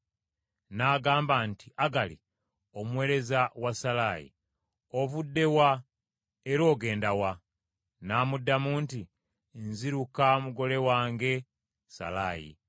N’agamba nti, “Agali, omuweereza wa Salaayi, ovudde wa era ogenda wa?” N’amuddamu nti, “Nziruka mugole wange Salaayi.”